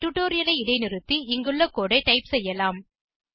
டுடோரியலை இடைநிறுத்தி இங்குள்ள கோடு ஐ டைப் செய்யலாம்